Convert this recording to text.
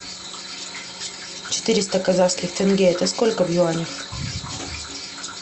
четыреста казахских тенге это сколько в юанях